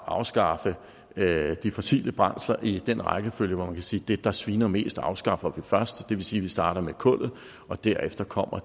at afskaffe de fossile brændsler i den rækkefølge hvor man kan sige at det der sviner mest afskaffer vi først det vil sige at vi starter med kullet og derefter kommer